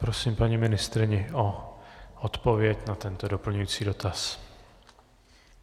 Prosím paní ministryni o odpověď na tento doplňující dotaz.